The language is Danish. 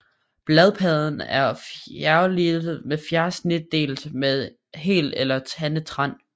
Bladpladen er fjerfliget eller fjersnitdelt med hel eller tandet rand